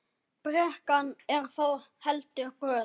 Brekkan er þó heldur brött.